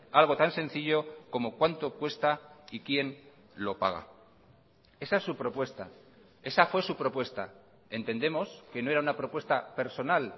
algo tan sencillo como cuánto cuesta y quién lo paga esa es su propuesta esa fue su propuesta entendemos que no era una propuesta personal